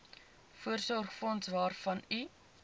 voorsorgsfonds waarvan u